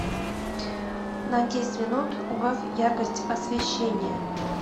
на десять минут убавь яркость освещения